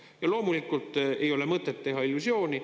Ja loomulikult ei ole mõtet teha illusiooni.